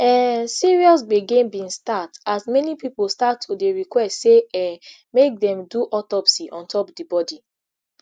um serious gbege bin start as many pipo start to dey request say um make dem do autopsy ontop di body